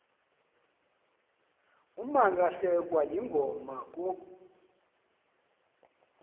umalahlekwa yingoma kuh